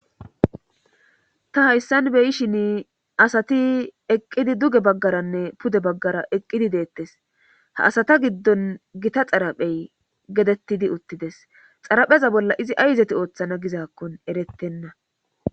Ta hayssan beyishin asati eqqidi duge baggaranne pude baggara eqqidi deettes ha asata giddon gita xaraphey getettidi uttides xarapheza bolla izi ayzeti ooththana gizaakkon erettenna